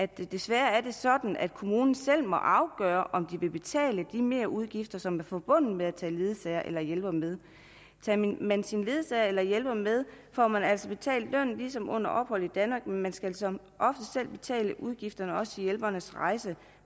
desværre er det sådan at kommunen selv må afgøre om de vil betale de merudgifter som er forbundet med at tage ledsager eller hjælpere med tager man sin ledsager eller hjælper med får man altså betalt lønnen ligesom under ophold i danmark men man skal som oftest selv betale udgifter til hjælpernes rejse